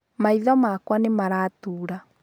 Maitho makwa nĩ Maratura.